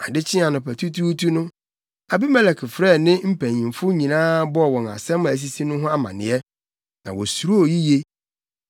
Ade kyee anɔpatutuutu no, Abimelek frɛɛ ne mpanyimfo nyinaa bɔɔ wɔn nsɛm a asisi no ho amanneɛ. Na wosuroo yiye.